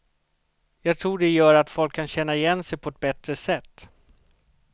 Jag tror det gör att folk kan känna igen sig på ett bättre sätt.